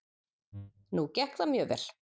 Nú gekk það mjög vel.